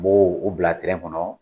N b'u bila tɛrɛn kɔnɔ.